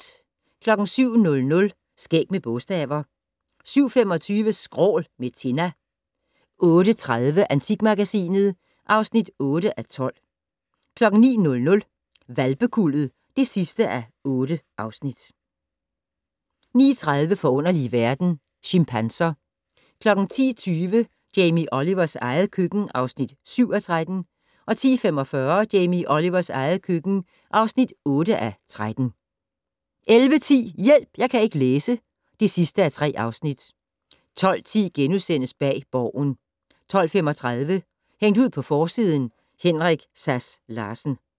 07:00: Skæg med bogstaver 07:25: Skrål - med Tinna 08:30: Antikmagasinet (8:12) 09:00: Hvalpekuldet (8:8) 09:30: Forunderlige verden - Chimpanser 10:20: Jamie Olivers eget køkken (7:13) 10:45: Jamie Olivers eget køkken (8:13) 11:10: Hjælp! Jeg kan ikke læse (3:3) 12:10: Bag Borgen * 12:35: Hængt ud på forsiden: Henrik Sass Larsen